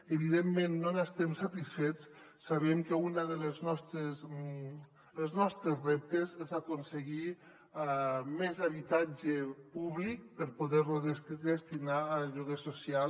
evidentment no n’estem satisfets sabem que un dels nostres reptes és aconseguir més habitatge públic per poder lo destinar a lloguer social